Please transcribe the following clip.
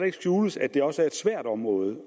ikke skjules at det også er et svært område